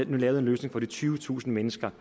nu lavet en løsning for de tyvetusind mennesker